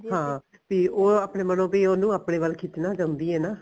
ਹਾਂ ਤੇ ਉਹ ਆਪਣੇ ਮਨੋ ਵੀ ਉਹਨੂੰ ਆਪਣੇ ਵੱਲ ਖਿਚਣਾ ਚਾਹੁੰਦੀ ਐ ਨਾ